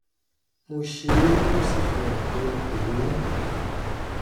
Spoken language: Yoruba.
mo ṣe é ó sì fihàn pé n kò lóyún